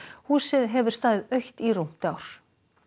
húsið hefur staðið autt í rúmt ár